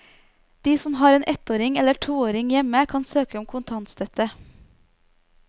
De som har en ettåring eller toåring hjemme, kan søke om kontantstøtte.